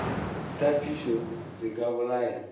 sa phišo se ka bolaya